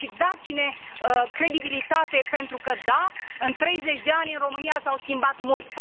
Dați ne credibilitate pentru că da, în 30 de ani, în România s a schimbat mult.